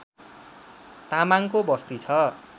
तामाङको बस्ती छ